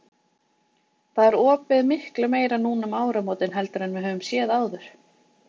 Það er opið miklu meira núna um áramótin heldur en við höfum séð áður?